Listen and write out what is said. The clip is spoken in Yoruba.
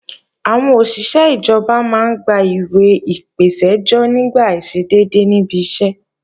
Àwọn òṣìṣé ìjọba máa ń gba ìwẹ̀ ìpèsẹ́jọ́ nígbà àìṣedédé níbi iṣẹ́